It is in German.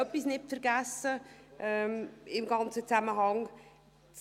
Man darf im ganzen Zusammenhang auch Folgendes nicht vergessen: